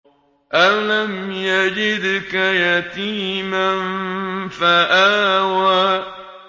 أَلَمْ يَجِدْكَ يَتِيمًا فَآوَىٰ